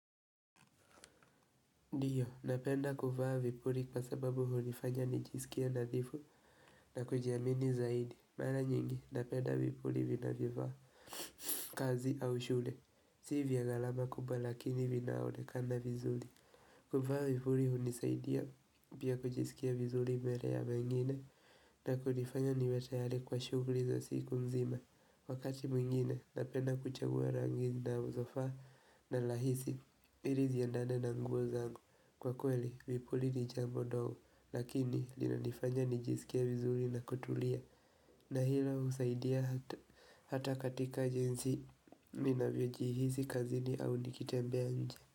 Ndio, napenda kuvaa vipuri kwa sababu hulifanya nijisikia nadhifu na kujiamini zaidi. Mara nyingi, napenda vipuli vinavyofaa kazi au shule. Si vya galama kubwa lakini vinaonekana vizuli. Kufaa vizuli hunisaidia pia kujisikia vizuli mbele ya mengine na kunifanya niwe tayari kwa shugli za siku mzima. Wakati mwingine, napenda kuchagua rangi zinazofaa na rahisi. Ili ziandane na nguo zangu Kwa kweli, vipuli ni jambo ndogo Lakini, lina nifanya nijisikie vizuri na kutulia na hilo, husaidia hata katika jinsi Mi navyo jihisi kazini au nikitembea nje.